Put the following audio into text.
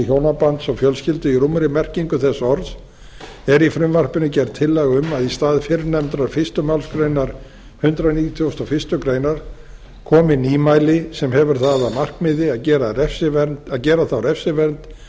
hjónabands og fjölskyldu í rúmri merkingu þess orðs er í frumvarpinu gerð tillaga um að í stað fyrrnefndrar fyrstu málsgrein hundrað nítugasta og fyrstu grein komi nýmæli sem hefur það að markmiði að gera þá refsivernd